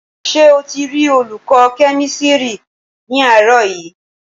Ṣé o ti rí olùkọ́ kẹ́mísírì ní àárọ̀ yìí